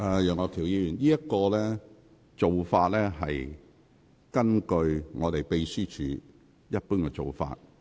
楊岳橋議員，你所提述的是秘書處的一貫做法。